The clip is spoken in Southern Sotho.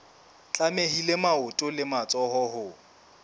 tlamehile maoto le matsoho ho